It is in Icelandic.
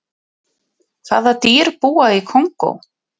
hvaða dýr búa í kongó